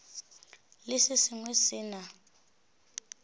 le se sengwe se na